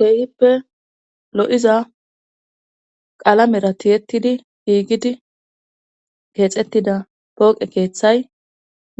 feeyhippe lo7iza qaalamera tiyettidi giigidi keexettida pooqe keeththay